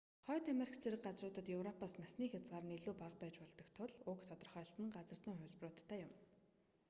хойд америк зэрэг газруудад европоос насны хязгаар нь илүү бага байж болдог тул уг тодорхойлолт нь газар зүйн хувилбаруудтай юм